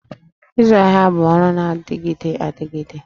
Ịzụ ahịa bụ ọrụ na-adịgide adịgide